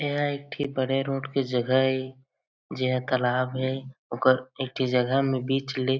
एह एक ठी बड़े रोड के जगह हे जे ह तालाब हे ओकर एक ठी जगह मैं बीच ले --